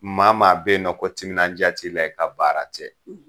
Maa maa bɛ yen nɔ ko timinandiya t'i la i ka baara tɛ.